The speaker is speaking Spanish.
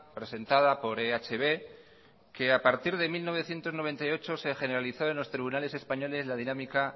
presentada por ehb que a partir de mil novecientos noventa y ocho se generalizó en los tribunales españoles la dinámica